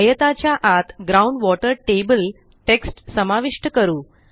आयताच्या आत ground water table text समाविष्ट करू